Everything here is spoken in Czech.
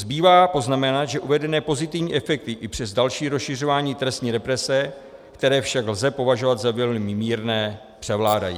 Zbývá poznamenat, že uvedené pozitivní efekty i přes další rozšiřování trestní represe, které však lze považovat za velmi mírné, převládají.